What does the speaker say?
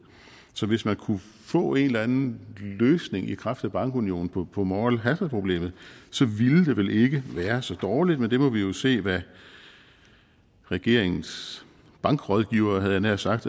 så hvis man kunne få en eller anden løsning i kraft af bankunionen på på moral hazard problemet så ville det vel ikke være så dårligt men vi må jo se hvad regeringens bankrådgivere havde jeg nær sagt